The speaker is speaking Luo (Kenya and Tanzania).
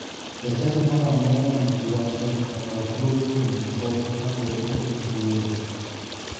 Jachadi moro amora manigi wach to nyaka kaw thuolo kuom jakom ka podi ok owuoyo.